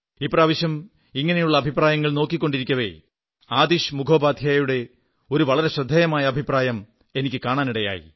ഇപ്രാവശ്യം ഇങ്ങനെയുള്ള അഭിപ്രായങ്ങൾ നോക്കിക്കൊണ്ടിരിക്കവെ ആതിശ് മുഖോപാധ്യായയുടെ ഒരു വളരെ ശ്രദ്ധേയമായ അഭിപ്രായം എനിക്ക് കാണാനിടയായി